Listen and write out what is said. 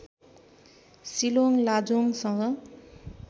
Shillong लाजोङसँग